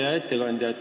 Hea ettekandja!